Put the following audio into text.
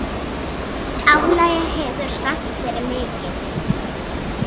Álagið hefur samt verið mikið.